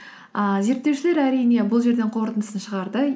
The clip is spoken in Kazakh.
ііі зерттеушілер әрине бұл жерден қорытындысын шығарды